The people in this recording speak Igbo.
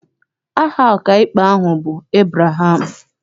Aha ọkaikpe ahụ bụ Ebreham.